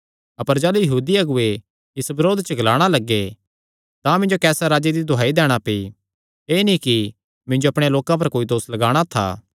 अपर जाह़लू यहूदी अगुऐ इस बरोध च ग्लाणा लग्गे तां मिन्जो कैसर राजे दी दुहाई दैणा पेई एह़ नीं कि मिन्जो अपणेयां लोकां पर कोई दोस लगाणा था